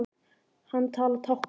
Hann talar táknmál.